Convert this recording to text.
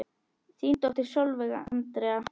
Þín dóttir Sólveig Andrea.